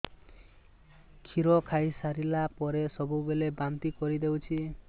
କ୍ଷୀର ଖାଇସାରିଲା ପରେ ସବୁବେଳେ ବାନ୍ତି କରିଦେଉଛି